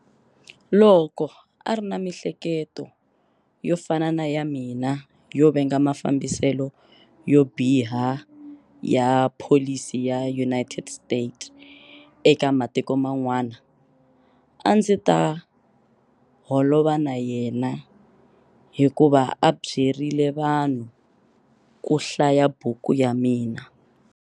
Loko a ri na miehleketo yo fana na ya mina yo venga mafambiselo yo biha ya pholisi ya US eka matiko man'wana, a ndzi nga ta holova na yena hi ku va a byerile vanhu ku hlaya buku ya mina.